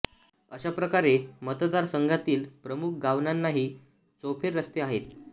अशा प्रकारे मतदार संघातील प्रमुख गावांनाही चौफेर रस्ते आहेत